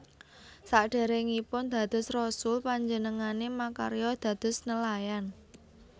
Sadèrèngipun dados rasul panjenengané makarya dados nelayan